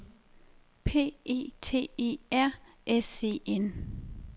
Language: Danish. P E T E R S E N